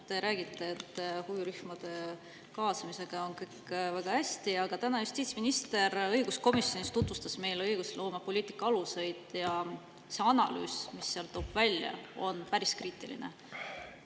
Te räägite, et huvirühmade kaasamisega on kõik väga hästi, aga täna justiitsminister õiguskomisjonis tutvustas meile õigusloomepoliitika aluseid ja see analüüs, mis seal välja tuuakse, on päris kriitiline.